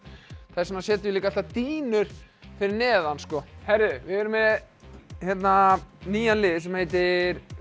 þess vegna setjum við líka alltaf dýnur fyrir neðan heyrðu við erum með hérna nýjan lið sem heitir